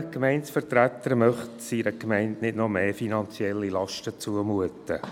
Welcher Gemeindevertreter möchte seiner Gemeinde noch mehr finanzielle Lasten zumuten?